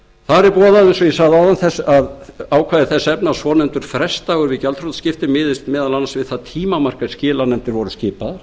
eins og ég sagði áðan ákvæði þess efnis að svonefndur frestdagur við gjaldþrotaskipti miðist meðal annars við það tímamark er skilanefndir voru skipaðar